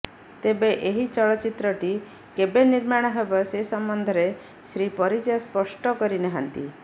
ତେବେ ଏହି ଚଳଚ୍ଚିତ୍ରଟି କେବେ ନିର୍ମାଣ ହେବ ସେ ସମ୍ବନ୍ଧରେ ଶ୍ରୀ ପରିଜା ସ୍ପଷ୍ଟ କରିନାହାନ୍ତି